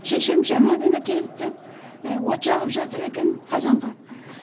шешем жаңа ғана келіпті і от жағып жатыр екен қазанға